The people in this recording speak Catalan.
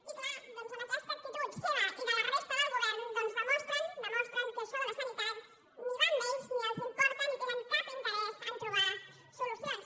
i clar doncs amb aquesta actitud seva i de la resta del govern demostren que això de la sanitat ni va amb ells ni els importa ni tenen cap interès a troba hi solucions